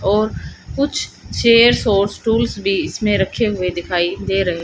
और कुछ चेयर्स और स्टूल्स भी इसमें रखे हुए दिखाई दे रहे--